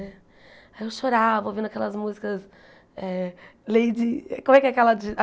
Eu chorava ouvindo aquelas músicas... Eh Lady... Como é que é aquela de?